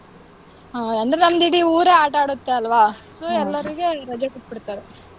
ಹ್ಮ್ ಅಂದ್ರೆ ನಮ್ದ್ ಇಡೀ ಊರೇ ಆಟಾಡತ್ತೆ ಅಲ್ವಾ! so ಎಲ್ಲರಿಗೂ ಇಲ್ ರಜೆ ಕೊಟ್ಬಿಡ್ತಾರೆ.